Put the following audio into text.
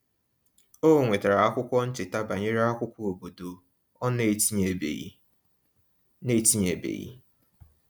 O nwetara akwụkwọ ncheta banyere akwụkwọ obodo ọ n'etinyebeghị n'etinyebeghị